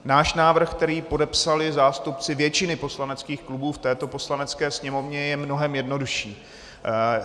Náš návrh, který podepsali zástupci většiny poslaneckých klubů v této Poslanecké sněmovně, je mnohem jednodušší.